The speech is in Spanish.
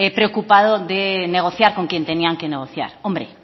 preocupado de negociar con quien tenían que negociar hombre